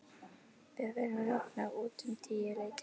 Við vorum roknar út um tíuleytið.